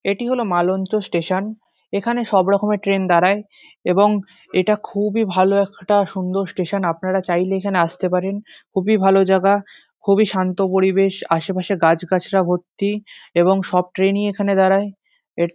এটি হলো মালঞ্চ স্টেশন এখানে সব রকমের ট্রেন দাঁড়ায়। এবং এটা খুবই ভালো একটা সুন্দর স্টেশন আপনারা চাইলে এখানে আস্তে পারেন খুবই ভালো জাগা খুবই শান্ত পরিবেশ আশেপাশে গাছগাছড়া ভর্তি এবং সব ট্রেন ই এখানে দাঁড়ায় এর--